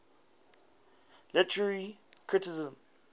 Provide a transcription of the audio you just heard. literary criticism